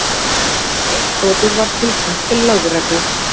Innbrotið var tilkynnt til lögreglu